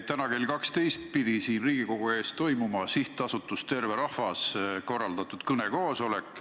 Täna kell 12 pidi siin Riigikogu ees toimuma SA Terve Rahvas korraldatud kõnekoosolek.